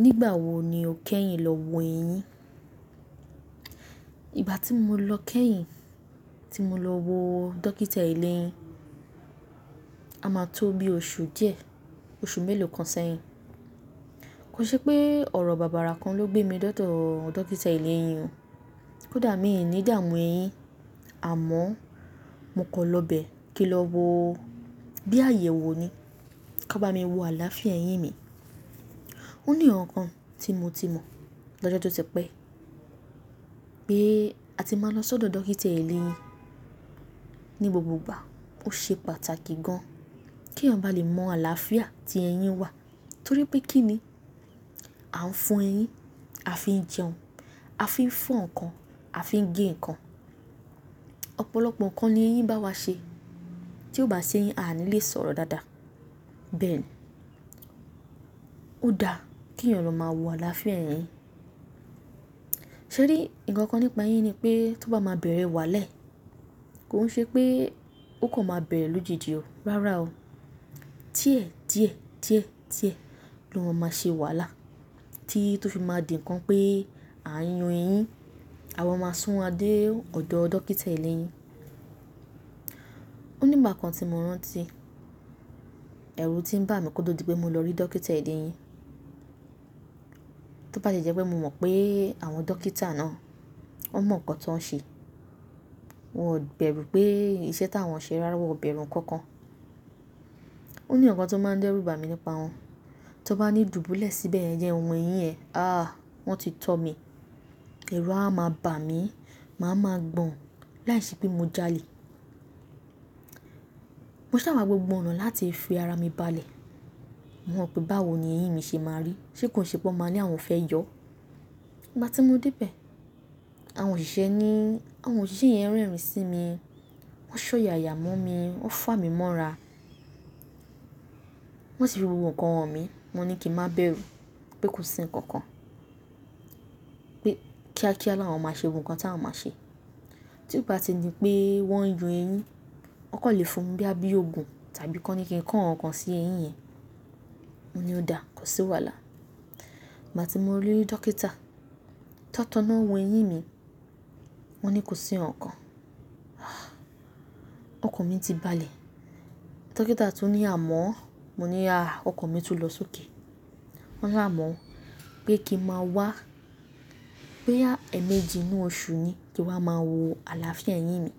Nígbà wo ni o kẹ́yìn lọ wo eyín? Ìgbà tí mo lọ kẹ́yìn tí mo lọ wo dókítà ìle eyín, a máa tó bí oṣù díẹ̀, oṣù mélòó kan sẹ́yìn. Kò ṣe pé ọ̀rọ̀ bàbàrà kan ló gbé mi dọ́dọ́ dókítà eleyín o. Kódà mi ò ní ìdààmú eyín, àmọ́ mo kọ lọ bẹ̀ kí n lọ wo bí àyè wo ni ka bá mi wo àlàáfíà eyín mi. Ó ní ǹkankan tí mo ti mọ̀ lọ́jọ́ tó tipẹ́ pé a ti mà lọ sọ́dọ̀ dókítà eléyín ní gbogbo ìgbà ó ṣe pàtàkì gan, kí èèyàn lè bá mọ àlàáfíà ti eyín wa, torí pé kínni a ń fọ eyín a fin jẹun a fi fọ́ ǹkan a fi ń gé ǹkan ọ̀pọ̀lọpọ̀ ǹkan ni eyín báwa ṣe, tí ò bá sí eyín a ní lè sọ̀rọ̀ dáadáa. Bẹ́ẹ̀ni, ó dáa kí èyàn lọ máa wo àlàáfíà eyín. Ṣé rí, nkankan nípa eyín ni pé tó bá máa bẹ̀rẹ̀ wàálẹ̀, kò ṣe pé ó kò máa bẹ̀rẹ̀ lójijì o, rárá o. Díẹ̀ díẹ̀ díẹ̀ díẹ̀ lọ ma máa ṣe wàhálà tí tó fi máa dì ńkan pé à ń yún eyín, àwa máa sún wa dé ọ̀dọ̀ dókítà eleyín. Ó ní ìgbà kan tí mo rántí, ẹ̀rù tí ń bà mí kódò di pé mo lọ rí dókítà eleyín. Tó bá ti jẹ́ pé mo mọ̀ pé àwọn dókítà náà wọn mọ̀ ǹkan tí wọ́n ń ṣe, wọn ò bẹ̀rù pé iṣẹ́ táwọn ṣe rárá, wọn ò bẹ̀rù ǹkan kan. Ó ní ǹkan tó máa ń dẹ́rù bà mí nípa wọn. Tó bá ní dùbúlẹ̀ síbẹ̀ yẹn jẹ́ wo eyín ẹ, àh! Wọ́n ti tọ́ mi. Ẹ̀rù a máa bà mí, màá ma gbọ̀n láìṣe pé mo já'lẹ̀. Mo ṣà ma gbogbo ọ̀nà láti fi ara mi balẹ̀, mọ̀ pé báwo ni eyín mi ṣe máa rí, ṣe kó ṣe po maa ní àwọn fẹ́ yọ. Ìgbà tí mo dé bẹ̀, àwọn òṣìṣẹ́ ní, àwọn òṣìṣẹ́ yẹn rẹ́rìn sí mi, wọ́n ṣọ́yàyà mọ́ mi, wọ́n fà mí mọ́ra. Wọ́n sì fi gbogbo ǹkan hàn mí, mo ní kí n má bẹ̀rù pé kò sí ǹkan kan. Pé kíákíá ló àwọn máa ṣe gbogbo ǹkan tí àwọn máa ṣe. Tí ó bá ti di pé wọ́n ń yọ eyín, wọn kò lè fún bíi àbí ogun tàbí kọ́ni kí n kan ǹkankan sí eyín yẹn. Mo ní ó dáa, kò sí wàhálà. Ìgbà tí mo rí dókítà, tó tán náà wọ eyín mi, wọ́n ní kò sí ǹkankan. Ọkàn mi ti balẹ̀. Dókítà tún ní àmọ́, mo ní àh! Ọkàn mi tún lọ sókè. Wọ́n ni àmọ́ pé kí n má wá, bóyá ẹ̀ méjì inú oṣù ni kí wa máa wo àlàáfíà eyín mi